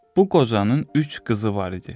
Bu qocanın üç qızı var idi.